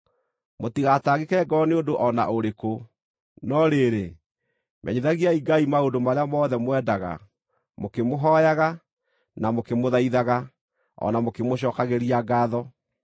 Mũtigatangĩke ngoro nĩ ũndũ o na ũrĩkũ, no rĩrĩ, menyithagiai Ngai maũndũ marĩa mothe mwendaga, mũkĩmũhooyaga, na mũkĩmũthaithaga, o na mũkĩmũcookagĩria ngaatho.